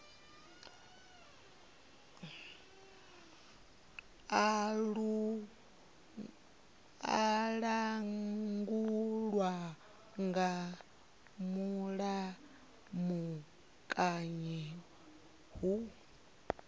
a langulwa nga mulamukanyi hu